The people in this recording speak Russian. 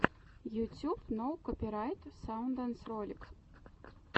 ютюб ноу копирайт саундс ролик